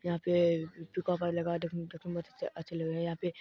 यहाँ पे लगा देखने में देखने में बहुत अछ-अच्छे लग रहे है यहाँ पे--